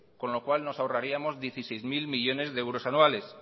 con lo cual nos ahorraríamos dieciséis mil millónes de euros anuales